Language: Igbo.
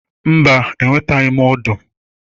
Mba, enwetabeghị m ọdụ.